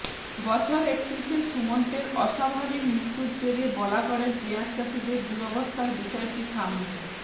বছর একত্রিশের সুমন্তের অস্বাভাবিক মৃত্যুর জেরে বলাগড়ের পেঁয়াজ চাষিদের দুরবস্থার বিষয়টি সামনে